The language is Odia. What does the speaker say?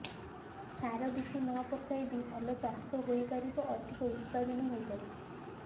ସାର ବିଷ ନପକାଇ ବି ଭଲ ଚାଷ ହୋଇ ପାରିବ ଅଧିକ ଉତ୍ପାଦନ ହୋଇ ପାରିବ